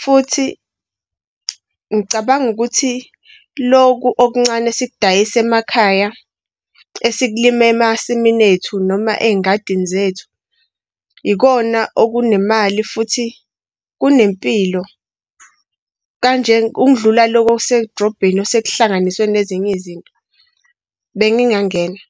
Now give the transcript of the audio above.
futhi ngicabanga ukuthi lokhu okuncane esikudayisa emakhaya esikulima emasimini ethu noma ey'ngadini zethu, ikhona okunemali, futhi kunempilo kanje ukudlula lokhu okuse drobheni osekuhlanganiswe nezinye izinto. Bengingangena.